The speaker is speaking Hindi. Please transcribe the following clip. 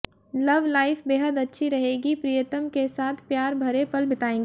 लव लाइफ बेहद अच्छी रहेगी प्रियतम के साथ प्यार भरे पल बीताएंगे